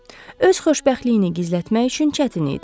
Öz xoşbəxtliyini gizlətmək üçün çətin idi.